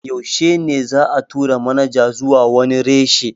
Yaushe ne za'a tura manaja zuwa wani reshe?